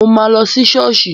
Mo ma lọ sí ṣọ́ọ̀ṣì